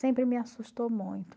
Sempre me assustou muito.